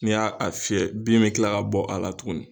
N'i y'a a fiyɛ bin bɛ tila ka bɔ a la tuguni